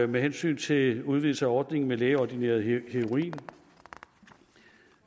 med hensyn til en udvidelse af ordningen med lægeordineret heroin